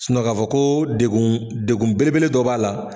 ka fɔ ko degun degun belebele dɔ b'a la.